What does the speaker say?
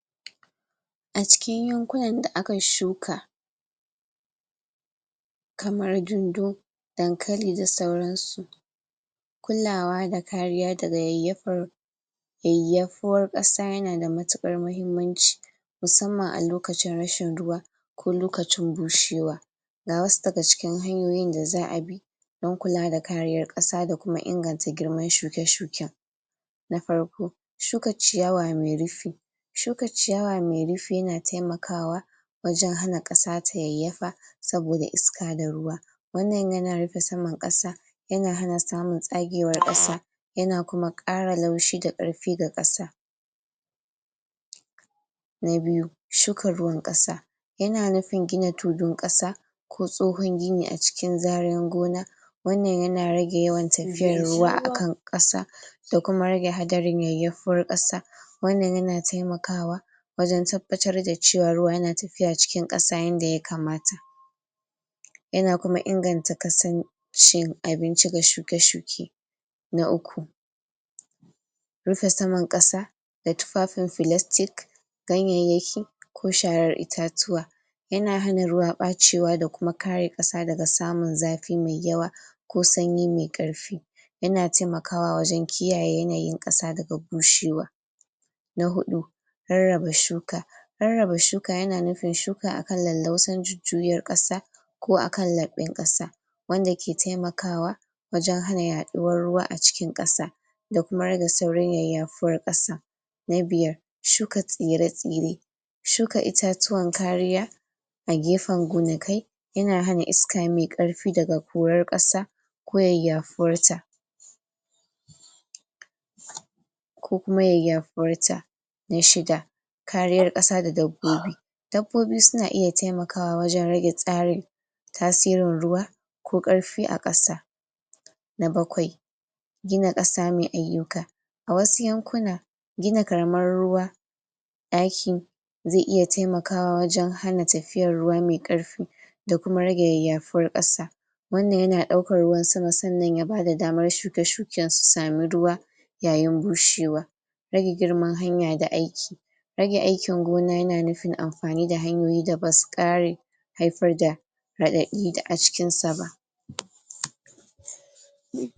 a cikin yankunan da akayi shuka kamar dundu dankali da sauransu kulawa da kariya daga yayyafi yayyafuwar ƙasa yana da matukar mahimmanci musamman a lokacin rashin ruwa ko lokacin bushewa ga wasu daga cikin hanyoyin da za'a bi dan kula ka kariyar ƙasa da kuma inganta girman shuke-shuken na farko shuka ciyawa mai rufi shuka ciyawa mai rufi yana taimakwa wajen hana ƙasa ta yayyafa saboda iska da ruwa. wannan yana rufe saman ƙasa yana hana samun tsagewar ƙasa yana kuma ƙara laushi da ƙarfi ga ƙasa. na biyu shuka ruwan ƙasa yana nufin gina tulun ƙasa ko tsohon gini a cikin zaren gona wannan yana rage yawan tafiyan ruwa akan ƙasa da kuma rage hadarin yayyafuwar ƙasa wannan yana taimakawa wajen tabbatar da cewa ruwa na tafiya cikin ƙasa yanda ya kamata. yana kuma inganta kasan cin abinci ga shuke-shuke. na uku rufe saman ƙasa da tufafin filastik ganyayyaki ko sharar itatuwa yana hana ruwa kwacewa da kuma kare ƙasa daga samun zafi mai yawa ko sanyi mai ƙarfi. yana taimakawa wajen kiyaye yanayin ƙasa daga bushewa. na huɗu rarrabe shuka rarraba shuka yana nufin shuka akan lallausan jujjuyar ƙasa ko akan laɓɓen ƙasa wanda ke taimakawa wajen hana yaɗuwar ruwa a cikin ƙasa da kuma rage saurin yayafuwar ƙasa. na biyar suka tsire-tsire shuka itatuwan kariya a gefen gonakai yana hana isaka mai ƙarfi daga korar ƙasa ko yayyafuwar ta. ko kuma yayyafuwar ta. na shida kariyar ƙasa da dabbobi dabbobi na iya taimakawa wajen rage tsari tasirin ruwa ko ƙarfi a ƙasa na bakwai gina ƙasa mai ayyuka a wasu yankuna gina karamar ruwa aikin zai iya taimakawa wajen hana tafiyar ruwa mai ƙarfi da kuma rage yayyafuwar ƙasa wannan yana ɗaukar ruwan sama sannan ya bada daman shuke-shuken su samu ruwa yayin bushewa. rage girman hanya da ake rage aikin gona yana nufin amfani da hanyoyi da basu ƙare haifar da raɗaɗi a cikin sa ba.